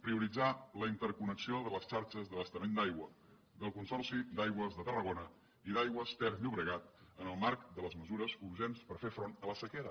prioritzar la interconnexió de les xarxes d’abastament d’aigua del consorci d’aigües de tarragona i d’aigües ter llobregat en el marc de les mesures urgents per fer front a la sequera